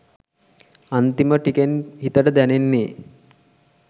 අන්තිම ටිකෙන් හිතට දැනෙන්නෙ